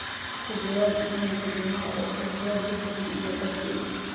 ka jawaab iimaylka juma oo ka jawaab lixdii iyo barkii